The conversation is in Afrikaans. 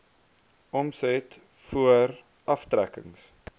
omset voor aftrekkings